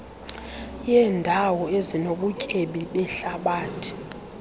yeendawo ezinobutyebi behlabathi